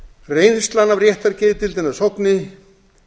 reynslan af réttargeðdeildinni að sogni